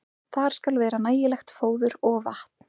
Þar skal vera nægilegt fóður og vatn.